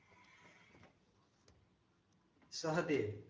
Sahadev